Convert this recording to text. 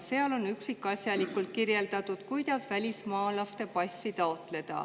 Seal on üksikasjalikult kirjeldatud, kuidas välismaalase passi taotleda.